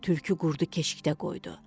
Tülkü qurudu keşikdə qoydu.